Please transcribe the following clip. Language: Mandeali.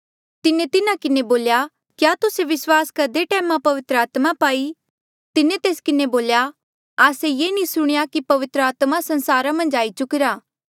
तिन्हा किन्हें बोल्या क्या तुस्से विस्वास करदे टैमा पवित्र आत्मा पाई तिन्हें तेस किन्हें बोल्या आस्से ये नी सुणेया की पवित्र आत्मा संसारा मन्झ आई चुकिरा